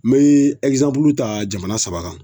N mee ɛkizanpulu ta jamana saba kan